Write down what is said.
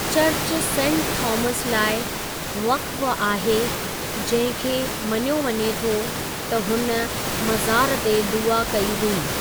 Church saint Thomas लाइ वक़्फ़ आहे जंहिं खे मञियो वञे थो त हुन मज़ार ते दुआ कई हुई।